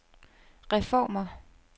reformer